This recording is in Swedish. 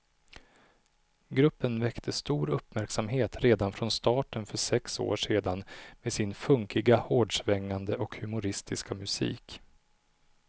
Gruppen väckte stor uppmärksamhet redan från starten för sex år sedan med sin funkiga, hårdsvängande och humoristiska musik.